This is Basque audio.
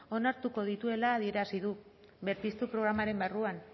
onartuko dituela adierazi du berpiztu programaren barruan